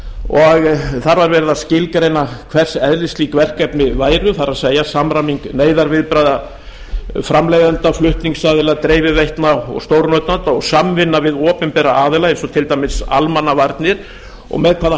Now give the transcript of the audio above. og þar var verið að skilgreina hvers eðlis slík verkefni væru það er samræming neyðarviðbragða framleiðenda flutningsaðila dreifiveitna og stórnotenda og samvinna við opinbera aðila eins og til dæmis almannavarnir og með hvaða